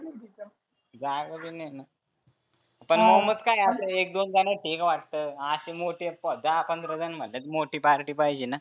जागा बी नाहीना. पण मोमोज काय आहे एक दोन जनात ठिक वाटतं. आसे मोठे दहा पंधरा जनं म्हटलं की मोठी party पाहीजेना.